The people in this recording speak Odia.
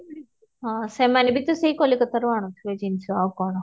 ହଁ ସେମାନେ ବି ତ ସେଈ କଲିକତା ରୁ ଆଣୁଥିବେ ଜିନିଷ ଆଉ କଣ